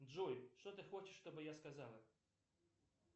джой что ты хочешь чтобы я сказала